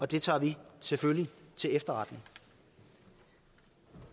det tager vi selvfølgelig til efterretning